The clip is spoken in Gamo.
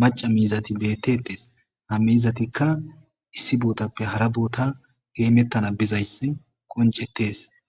macca miizati beetettees ha miizatika issi bootappe hara boota hemetana bizayssi qonccetees.